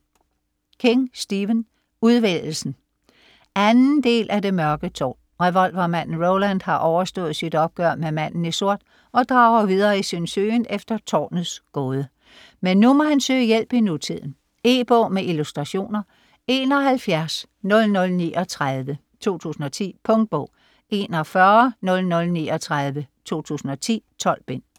King, Stephen: Udvælgelsen 2. del af Det mørke tårn. Revolvermanden Roland har overstået sit opgør med "Manden i sort" og drager videre i sin søgen efter Tårnets gåde. Men nu må han søge hjælp i nutiden. E-bog med illustrationer 710039 2010. Punktbog 410039 2010. 12 bind.